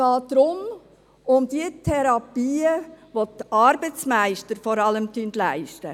Es geht um die Therapien, welche vor allem die Arbeitsmeister leisten.